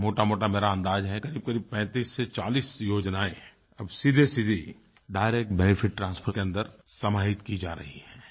एक मोटामोटा मेरा अंदाज़ है करीबकरीब 35 से 40 योजनायें अब सीधीसीधी डायरेक्ट बेनेफिट ट्रांसफर के अंदर समाहित की जा रही हैं